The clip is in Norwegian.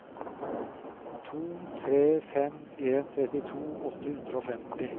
to tre fem en trettito åtte hundre og femti